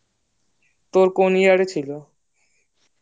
তোর কোন year এ ছিল